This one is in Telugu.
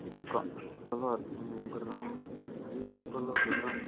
ఇసుక ఇసుక లో ఉమ్ గుర్రం ఉన్నది ఇసుకలో గుర్రం.